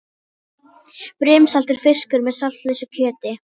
Brimsaltur fiskur með saltlausu kjöti.